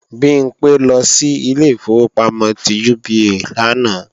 Bimpé lọ sí ilé ìfowópamọ́ ti UBA lánàá